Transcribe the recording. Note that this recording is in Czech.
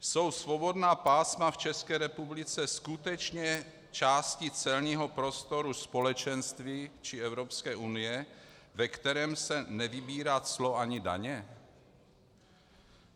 Jsou svobodná pásma v České republice skutečně části celního prostoru Společenství či Evropské unie, ve kterém se nevybírá clo ani daně?